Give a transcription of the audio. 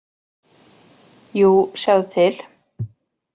Jú, sjáðu til.